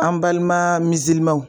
An balima